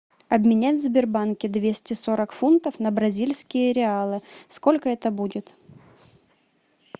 обменять в сбербанке двести сорок фунтов на бразильские реалы сколько это будет